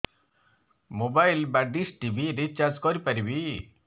mobile ବା dish TV recharge କରି ପାରିବି